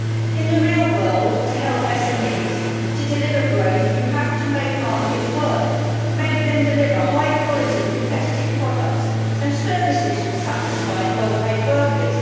In the real world, to help SMEs to deliver growth you have to make markets work and make them deliver high quality competitive products and services from satisfied, well-paid workers.